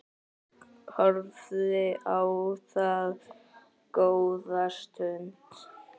Horfði á það góða stund.